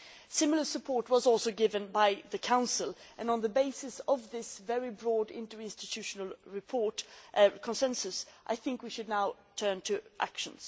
Similar support was given by the Council and, on the basis of this very broad interinstitutional consensus, we should now turn to action.